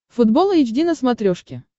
футбол эйч ди на смотрешке